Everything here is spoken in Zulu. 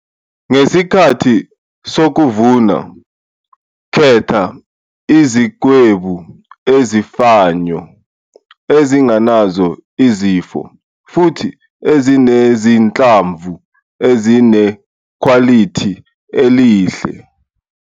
Ngesikhathi sokuvuna, khetha izikhwebu ezifanyo, ezingenazo izifo futhi ezinezinhlamvu ezinekhwalithi elihle.